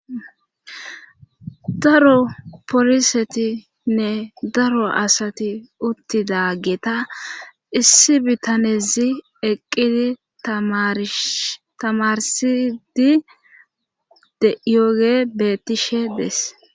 Daro polisetinne daro asati uttida ggeta issi bitanezi eqqidi tamarsidi dyoge bettishe dees